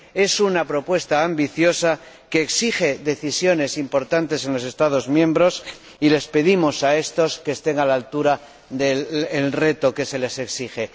es una propuesta ambiciosa que exige decisiones importantes en los Estados miembros, y les pedimos a estos que estén a la altura del reto que se les exige.